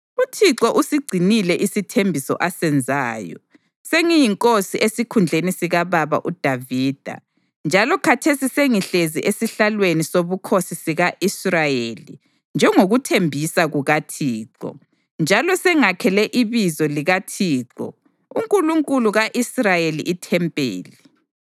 UThixo usigcinile isithembiso asenzayo. Sengiyinkosi esikhundleni sikababa uDavida njalo khathesi sengihlezi esihlalweni sobukhosi sika-Israyeli njengokuthembisa kukaThixo, njalo sengakhele iBizo likaThixo, uNkulunkulu ka-Israyeli ithempeli.